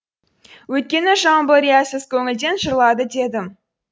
өйткені жамбыл риясыз көңілден жырлады дедім